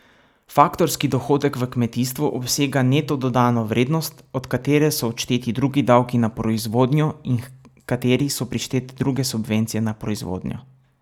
Faktorski dohodek v kmetijstvu obsega neto dodano vrednost, od katere so odšteti drugi davki na proizvodnjo in h kateri so prištete druge subvencije na proizvodnjo.